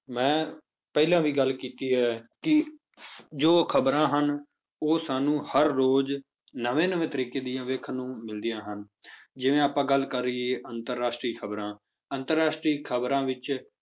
ਮੈਂ ਪਹਿਲਾਂ ਵੀ ਗੱਲ ਕੀਤੀ ਹੈ ਕਿ ਜੋ ਖ਼ਬਰਾਂ ਹਨ ਉਹ ਸਾਨੂੰ ਹਰ ਰੋਜ਼ ਨਵੇਂ ਨਵੇਂ ਤਰੀਕੇ ਦੀਆਂ ਵੇਖਣ ਨੂੰ ਮਿਲਦੀਆਂ ਹਨ ਜਿਵੇਂ ਆਪਾਂ ਗੱਲ ਕਰੀਏ ਅੰਤਰ ਰਾਸ਼ਟਰੀ ਖ਼ਬਰਾਂ ਅੰਤਰ ਰਾਸ਼ਟਰੀ ਖ਼ਬਰਾਂ ਵਿੱਚ